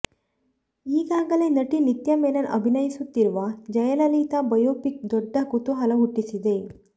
ಈಗಾಗಲೇ ನಟಿ ನಿತ್ಯಾ ಮೆನನ್ ಅಭಿನಯಿಸುತ್ತಿರುವ ಜಯಲಲಿತಾ ಬಯೋಪಿಕ್ ದೊಡ್ಡ ಕುತೂಹಲ ಹುಟ್ಟಿಸಿದೆ